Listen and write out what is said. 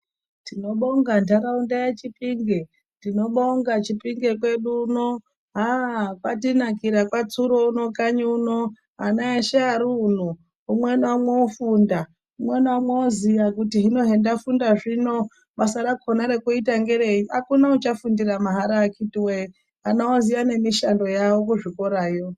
Tinobonga ntharaunda yeChipinge. Tinobonga Chipinge kwedu uno, haa kwatinakira kwaTsuro uno kanyi uno. Ana eshe ari uno umwe naumwe wofunda. Umwe naumwe woziya kuti hino hendafunda zvino basa rakona rekuita ngerei. Akuna uchafundira mahara akiti woye, ana oziya nemishando yawo kuzvikorayo.